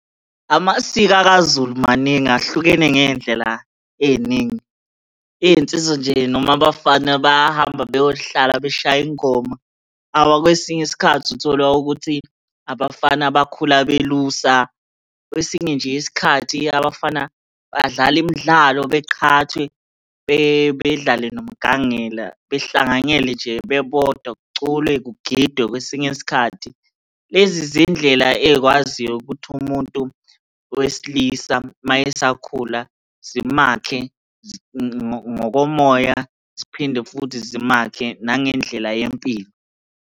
Amasiko akaZulu maningi ahlukene ngey'ndlela ey'ningi. iy'nsizwa nje noma abafana bayahamba beyohlala beshaye ingoma. Kwesinye isikhathi uthola ukuthi abafana bakhula belusa, kwesinye nje isikhathi abafana badlala imdlalo beqhathwe, bedlale nomgangela behlanganyele nje bebodwa kuculwe kugidwe kwesinye isikhathi. Lezi zindlela ey'kwaziyo ukuthi umuntu wesilisa uma esakhula zimakhe ngokomoya, ziphinde futhi zimakhe nangendlela yempilo.